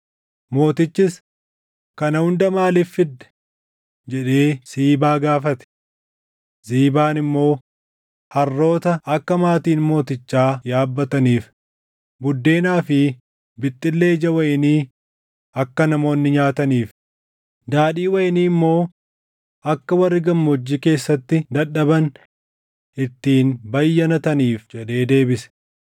Mootichis, “Kana hunda maaliif fidde?” jedhee Siibaa gaafate. Ziibaan immoo, “Harroota akka maatiin mootichaa Yaabbataniif, buddeenaa fi bixxillee ija wayinii akka namoonni nyaataniif, daadhii wayinii immoo akka warri gammoojjii keessatti dadhaban ittiin bayyanataniif” jedhee deebise.